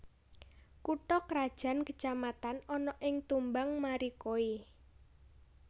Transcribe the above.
Kutha krajan kecamatan ana ing Tumbang Marikoi